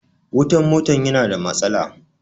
Wutan mota ya na da matsala